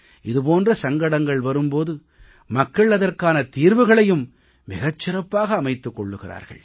இது போன்ற சங்கடங்கள் வரும் போது மக்கள் அதற்கான தீர்வுகளையும் மிகச் சிறப்பாக அமைத்துக் கொள்கிறார்கள்